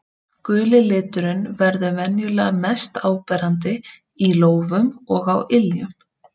Guli liturinn verður venjulega mest áberandi í lófum og á iljum.